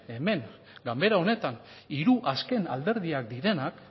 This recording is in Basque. hemen ganbera honetan hiru azken alderdiak direnak